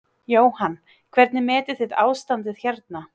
Jóhann: Hvernig metið þið ástandið hérna?